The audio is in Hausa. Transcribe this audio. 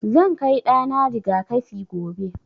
Zan kai ɗa na riga-kafi gobe.